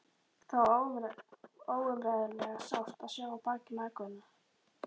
Það var óumræðilega sárt að sjá á bak mæðgunum.